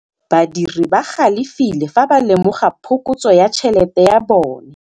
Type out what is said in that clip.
Badiri ba galefile fa ba lemoga phokotsô ya tšhelête ya bone.